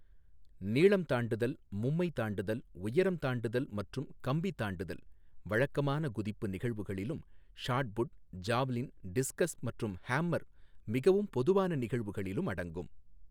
நீளம் தாண்டுதல், மும்மை தாண்டுதல், உயரம் தாண்டுதல் மற்றும் கம்பி தாண்டுதல், வழக்கமான குதிப்பு நிகழ்வுகளிலும் ஷாட் புட், ஜாவ்லின், டிஸ்கஸ் மற்றும் ஹமர், மிகவும் பொதுவான நிகழ்வுகளிலும் அடங்கும்.